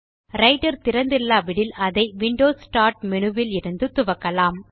writer திறந்து இல்லாவிடில் அதை விண்டோஸ் ஸ்டார்ட் மேனு விலிருந்து துவக்கலாம்